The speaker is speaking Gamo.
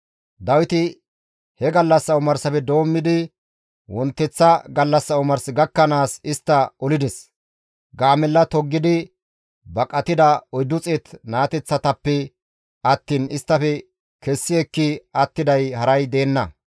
Dawiti he gallassa omarsafe doommidi wonteththa gallassa omars gakkanaas istta olides; gaamella toggidi baqatida 400 naateththatappe attiin isttafe kessi ekki attiday haray deenna.